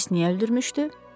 Bəs niyə öldürmüşdü?